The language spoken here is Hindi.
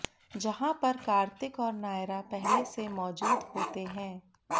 जहां पर कार्तिक और नायरा पहले से मौजूद होते हैं